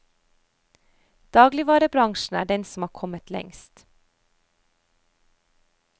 Dagligvarebransjen er den som har kommet lengst.